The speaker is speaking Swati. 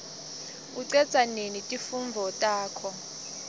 ucedza nini timfundvo takho